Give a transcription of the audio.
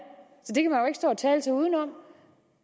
så og tale sig udenom